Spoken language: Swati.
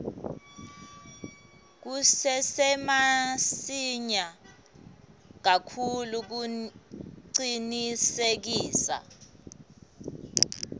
kusesemasinya kakhulu kucinisekisa